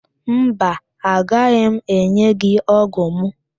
Mba, agaghị m enye gị ógụ̀ mụ